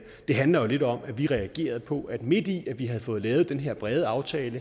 det handler jo lidt om at vi reagerede på at midt i at vi havde fået lavet den her brede aftale